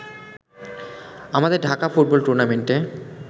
আমাদের ঢাকা ফুটবল টুর্নামেন্টে